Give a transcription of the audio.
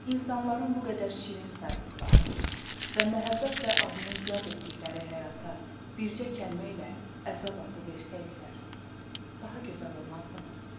İnsanların bu qədər şirin saydıqları və məhəbbətlə adını yad etdikləri həyata bircə kəlmə ilə əzab adı versəydilər, daha gözəl olmazdımı?